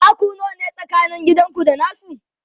taku nawa ne tsakanin gidanku da nasu?